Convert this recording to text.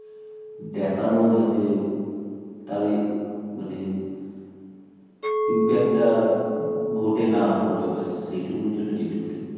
দেখানো যাতে তাদের মানে Impact টা vote এ না পড়ে ব্যাস সেটুকুনির জন্য যেটুকুনি